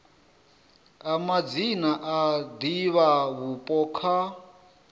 a madzina a divhavhupo kha